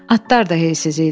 Atlar da heysiz idi.